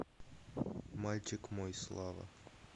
мальчик мой слава